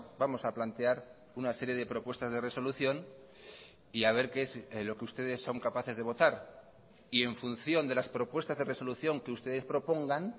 vamos a plantear una serie de propuestas de resolución y a ver qué es lo que ustedes son capaces de votar y en función de las propuestas de resolución que ustedes propongan